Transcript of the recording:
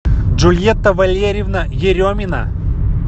джульетта валерьевна еремина